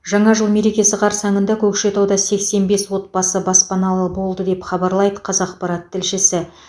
жаңа жыл мерекесі қарсаңында көкшетауда сексен бес отбасы баспаналы болды деп хабарлайды қазақпарат тілшісі